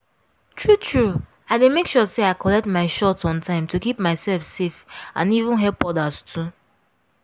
true true i dey make sure say i collect my shot on time to keep myself safe and even help others too.